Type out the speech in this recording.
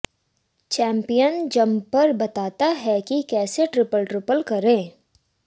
champion jumper बताता है कि कैसे ट्रिपल ट्रिपल करें